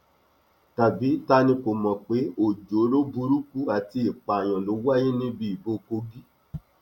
tàbí ta ni kò mọ pé ọjọọrọ burúkú àti ìpààyàn ló wáyé níbi ìbò kogi